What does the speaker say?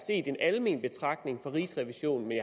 set en almen betragtning fra rigsrevisionen men